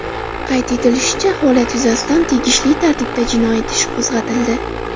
Qayd etilishicha, holat yuzasidan tegishli tartibda jinoyat ishi qo‘zg‘atildi.